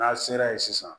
N'a sera yen sisan